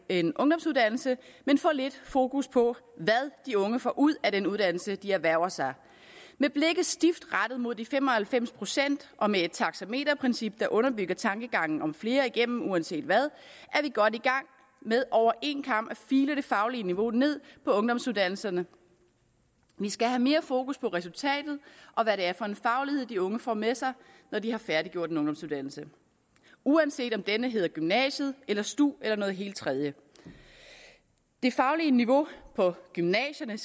en ungdomsuddannelse men for lidt fokus på hvad de unge får ud af den uddannelse de erhverver sig med blikket stift rettet mod de fem og halvfems procent og med et taxameterprincip der underbygger tankegangen om flere igennem uanset hvad er vi godt i gang med over en kam at file det faglige niveau ned på ungdomsuddannelserne vi skal have mere fokus på resultatet og hvad det er for en faglighed de unge får med sig når de har færdiggjort en ungdomsuddannelse uanset om denne hedder gymnasiet eller stu eller noget helt tredje det faglige niveau på gymnasierne